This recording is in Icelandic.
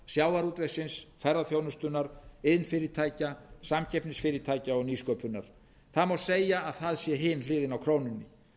sjávarútvegsins ferðaþjónustunnar iðnfyrirtækja samkeppnisfyrirtækja og nýsköpunar það má segja að það sé hin hliðin á krónunni